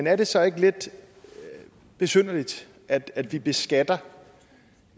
er det så ikke lidt besynderligt at at vi beskatter